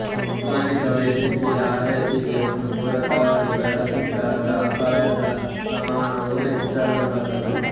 ಪ್ರಮಾಣಕ ವೈದ್ಯಕೀಯ ಆರೈಕೆಗೆ ಒಂದು ಪೂರಕವಾಗಿ ಬಳಸಿದಾಗ ಅಪಾಯದ ಪ್ರಮಾಣವು ಹೆಚ್ಚಾಗಬಲ್ಲದು